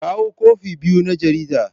Kawo kwafi biyu na jaridar.